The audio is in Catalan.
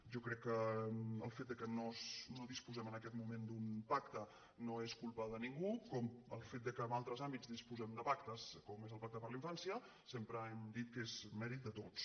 jo crec que el fet que no disposem en aquest moment d’un pacte no és culpa de ningú com el fet que en altres àmbits disposem de pactes com és el pacte per la infància sempre hem dit que és mèrit de tots